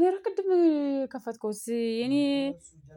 ምን ቅድም የከፈትከውስ የኔ